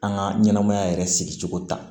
An ka ɲɛnɛmaya yɛrɛ sigi cogo ta